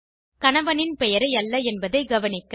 கணவனின் பெயரை அல்ல என்பதை கவனிக்க